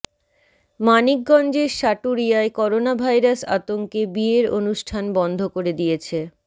মানিকগঞ্জের সাটুরিয়ায় করোনাভাইরাস আতঙ্কে বিয়ের অনুষ্ঠান বন্ধ করে দিয়েছে